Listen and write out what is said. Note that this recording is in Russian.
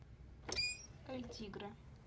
эль тигре